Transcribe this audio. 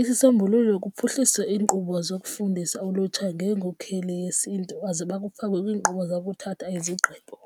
Isisombululo kuphuhlisa iinkqubo zokufundisa ulutsha ngeenkokheli yesiNtu aziba kufakwe kwiinkqubo zabo ukuthatha izigqibo.